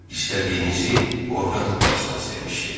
İstədiyinizi orda taparsınız demişdi.